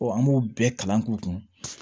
an b'u bɛɛ kalan k'u kun